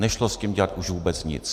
Nešlo s tím dělat už vůbec nic.